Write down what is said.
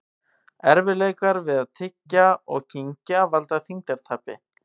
Erfiðleikar við að tyggja og kyngja valda þyngdartapi.